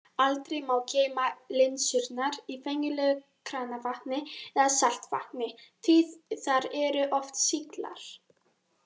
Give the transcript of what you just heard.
Aldrei má geyma linsurnar í venjulegu kranavatni eða saltvatni því þar eru oft sýklar.